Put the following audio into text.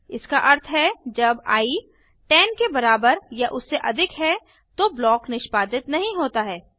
इसका अर्थ है जब आई 10 के बराबर या उससे अधिक है तो ब्लॉक निष्पादित नहीं होता है